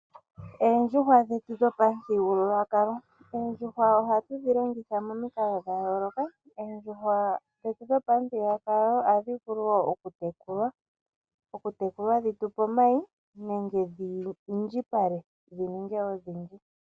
Oondjuhwa dhetu dhopamuthigululwakalo Oondjuhwa ohatu dhi longitha momikalo dha yooloka. Oondjuhwa dhetu dhopamuthigululwakalo ohadhi vulu wo okutekulwa dhi tu pe omayi nenge dhi indjipale dhi ninge odhindji.